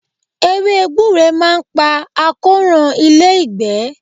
Ewé gbure máa ń pa àkóràn ilé-ìgbẹ́.